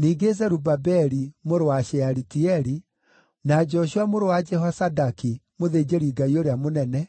Ningĩ Zerubabeli mũrũ wa Shealitieli, na Joshua mũrũ wa Jehozadaki, mũthĩnjĩri-Ngai ũrĩa mũnene,